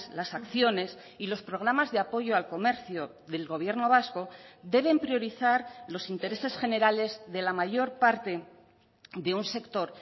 las acciones y los programas de apoyo al comercio del gobierno vasco deben priorizar los intereses generales de la mayor parte de un sector